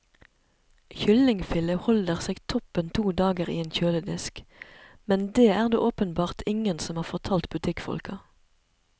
Kyllingfilet holder seg toppen to dager i en kjøledisk, men det er det åpenbart ingen som har fortalt butikkfolka.